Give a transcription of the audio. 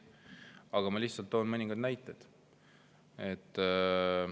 Aga ma lihtsalt toon mõningad näited.